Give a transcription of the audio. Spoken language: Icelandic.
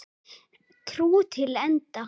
Trú til enda.